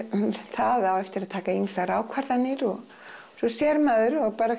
það á eftir að taka ýmsar ákvarðanir og svo sér maður að